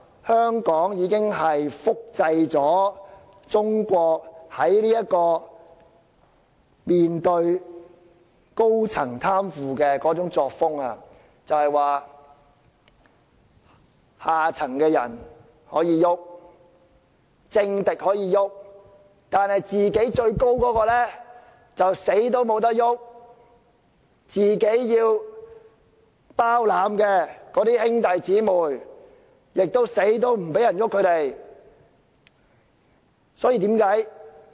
香港已經複製了中國面對高層貪腐的作風，即可以"動"下層的人，也可以"動"政敵，但最高位者卻不能"動"，甚至最高位者包攬的兄弟姊妹也無論如何不能"動"。